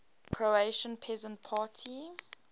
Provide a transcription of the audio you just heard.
croatian peasant party